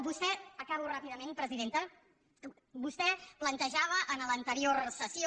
vostè acabo ràpidament presidenta plantejava en l’anterior sessió